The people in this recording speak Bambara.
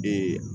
Bi